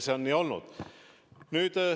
See on nii olnud.